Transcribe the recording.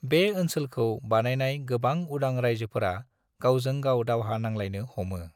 बे ओनसोलखौ बानायनाय गोबां उदां रायजोफोरा गावजों गाव दावहा नांलायनो हमो।